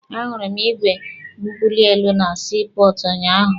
A hụrụ m igwe mbuli elu na sii pọọtụ unyaahụ.